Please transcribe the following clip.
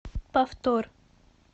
повтор